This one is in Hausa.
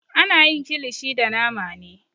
Ana yin kilishi da nama ne.